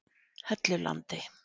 Hellulandi